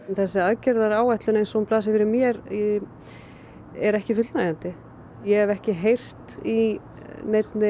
þessi aðgerðaáætlun eins og hún blasir við mér er ekki fullnægjandi ég hef ekki heyrt í neinni